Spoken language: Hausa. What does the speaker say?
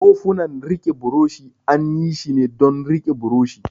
Kofunan rike buroshi an yi shi ne don rike buroshi.